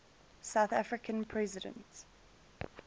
south african president